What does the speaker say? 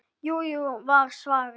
Jú, jú var svarið.